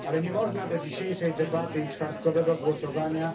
Ale nie można do dzisiejszej debaty i czwartkowego głosowania